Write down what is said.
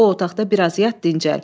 Get o otaqda biraz yat, dincəl.